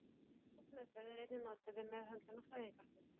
Viðtalsmeðferð er einnig notuð við meðhöndlun á fæðingarþunglyndi.